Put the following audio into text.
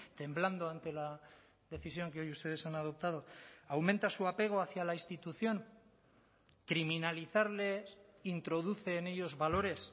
temblando ante la decisión que hoy ustedes han adoptado aumenta su apego hacia la institución criminalizarles introduce en ellos valores